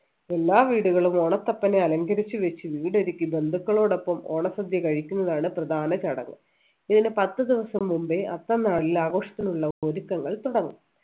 എല്ലാ വീടുകളും ഓണത്തപ്പനെ അലങ്കരിച്ച് വച്ച് വീട് ഒരുക്കി ബന്ധുക്കളോടൊപ്പം ഓണസദ്യ കഴിക്കുന്നതാണ് പ്രധാന ചടങ്ങ് ഇതിന് പത്തു ദിവസം മുമ്പേ അത്തം നാളിൽ ആഘോഷത്തിനുള്ള ഒരുക്കങ്ങൾ തുടങ്ങും